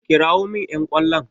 Kirawo min ƴan ƙwallon!